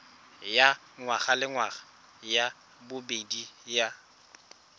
ya ngwagalengwaga ya bobedi ya